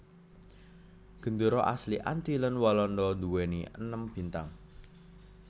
Gendéra asli Antillen Walanda nduwèni enam bintang